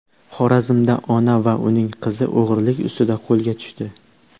Xorazmda ona va uning qizi o‘g‘rilik ustida qo‘lga tushdi.